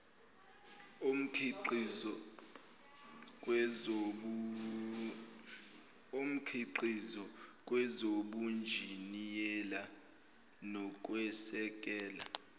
omkhiqizo kwezobunjiniyela nokwesekela